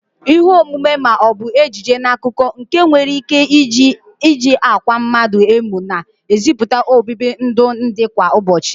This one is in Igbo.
Ihe omume ma o bu ejije n'akụkọ nke e nwere ike iji akwa mmadu emu na eziputa obibi ndụ ndi kwa ụbochị.